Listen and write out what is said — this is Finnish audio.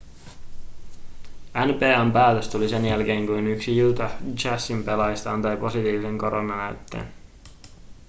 nba:n päätös tuli sen jälkeen kun yksi utah jazzin pelaajista antoi positiivisen koronanäytteen